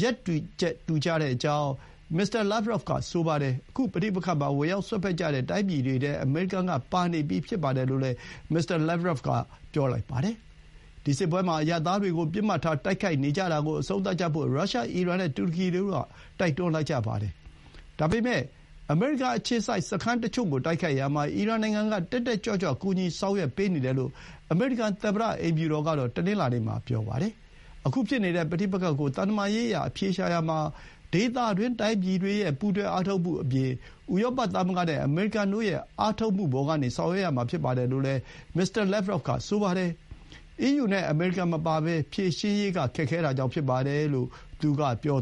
ရပ်တူချက်တူကြကြောင်း မစ္စတာလာ့ဗ်ရော့ဗ်က ဆိုပါတယ်။ ခု ပဋိပက္ခ မှာ ဝင်ရောက်စွက်ဖက်ကြတဲ့တိုင်းပြည်တွေထဲ အမေရိကန်က ပါနေပြီးဖြစ်ပါတယ်လို့လည်း မစ္စတာလာ့ဗ်ဗရော့ဗ်က ပြောပါတယ်။ ဒီ စစ်ပွဲမှာ အရပ်သားတွေကို ပစ်မှတ်ထားတိုက်ခိုက်နေကြတာကို အဆုံးသတ်ကြဖို့ ရုရှား၊ အီရန်နဲ့ တူရကီတို့က တိုက်တွန်းလိုက်ကြပါတယ်။ ဒါပေမဲ့ အမေရိကန် အခြေစိုက်စခန်းတွေကို တိုက်ခိုက်ရာမှာ အီရန်နိုင်ငံက တက်တက်ကြွကြွ ကူညီဆောင်ရွက်ပေးနေတယ်လို့ အမေရိကန်သမ္မတ အိမ်ဖြူတော်ကတော့ တနင်္လာနေ့မှာ ပြောလိုက်ပါတယ်။ ခုဖြစ်နေတဲ့ ပဋိပက္ခကို သံတမန်ရေးအရ အဖြေရှာရာမှာ ဒေသတွင်း တိုင်းပြည်တွေရဲ့ ပူးတွဲအားထုတ်မှုအပြင် ဥရောပသမဂ္ဂနဲ့ အမေရိကန်တို့ရဲ့ အားထုတ်မှုပေါ်ကနေ ဆောင်ရွက်ရမှာဖြစ်ပါတယ်လို့လည်း မစ္စတာ လာ့ဗရော့ဗ်က ဆိုပါတယ်။ အီးယူနဲ့ အမေရိကန်မပါဘဲ ဖြေရှင်းရေးက ခက်ခဲတာကြောင့်ဖြစ်ပါတယ်လို့ သူက ပြော